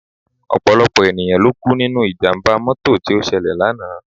Ọ̀pọ̀lọpọ̀ ènìyàn ló kú nínú ìjàmbá mọ́tò tí ó ṣẹlẹ̀ lánàá